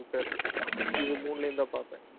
Twitter இது மூணுலயும்தான் பார்ப்பேன்